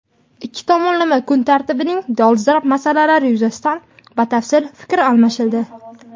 Ikki tomonlama kun tartibining dolzarb masalalari yuzasidan batafsil fikr almashildi.